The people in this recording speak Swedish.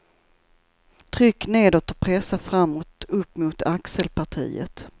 Tryck nedåt och pressa framåt upp mot axelpartiet.